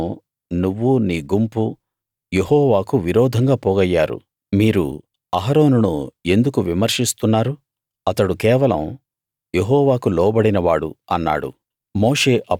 దీని కోసం నువ్వూ నీ గుంపూ యెహోవాకు విరోధంగా పోగయ్యారు మీరు అహరోనును ఎందుకు విమర్శిస్తున్నారు అతడు కేవలం యెహోవాకు లోబడినవాడు అన్నాడు